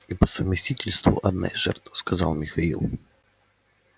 и по совместительству одна из жертв сказал михаил